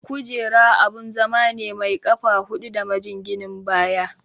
Kujera abun zama ne mai ƙafa hudu da majinginin baya.